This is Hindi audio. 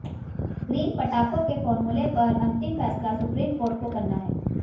ग्रीन पटाखों के फॉर्मूले पर अंतिम फैसला सुप्रीम कोर्ट को करना है